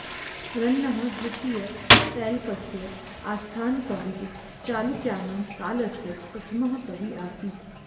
रन्नः द्वितीयतैलपस्य आस्थानकविः चालुक्यानां कालस्य प्रथमः कविः आसीत्